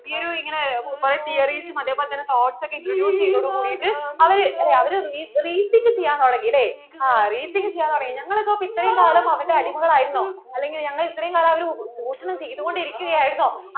ഈ ഒരു ഇങ്ങനെ കുറേ theories അതെ പോലെ തന്നേ quotes ഒക്കെ introduce ചെയ്തതോടു കൂടിയിട്ട് അവര് അവര് reach കിട്ടാൻ തുടങ്ങി അല്ലെ ആ reach കിട്ടാൻ തുടങ്ങി അല്ലെ ഞങ്ങൾ ഒക്കെ ഇത്രയും കാലം അവരുടെ അടിമകൾ ആയിരുന്നോ അല്ലെങ്കിൽ ഞങ്ങൾ ഇത്രയും കാലം അവരു ചൂഷണം ചെയ്‌തുകൊണ്ട്‌ ഇരികുകയായിരുന്നോ